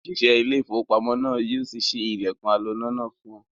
Òṣìṣẹ́ ilé-iìfowópamọ́sí náà ni yóò ṣí ilẹ̀kùn aloná náà fún ọ.